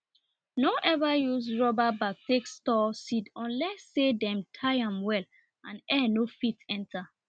nor ever use rubber bag take store seed unless say dem tie am well and air nor fit enter